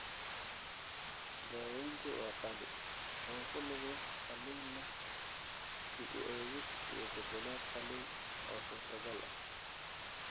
Daaweyntu waa qaali, oo ku lug leh qalliin leh dib-u-eegis iyo beddelaad qalliin oo suurtagal ah.